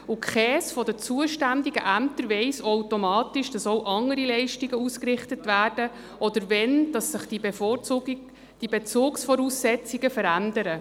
Keines, der zuständigen Ämter erfährt automatisch, wenn auch andere Leistungen ausgerichtet werden oder wenn sich die Bezugsvoraussetzungen ändern.